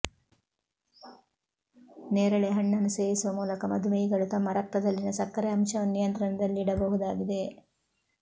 ನೇರಳೆ ಹಣ್ಣನ್ನು ಸೇವಿಸುವ ಮೂಲಕ ಮಧುಮೇಹಿಗಳು ತಮ್ಮ ರಕ್ತದಲ್ಲಿನ ಸಕ್ಕರೆ ಅಂಶವನ್ನು ನಿಯಂತ್ರಣದಲ್ಲಿಡಬಹುದಾಗಿದೆ